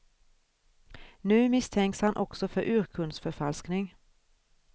Nu misstänks han också för urkundsförfalskning.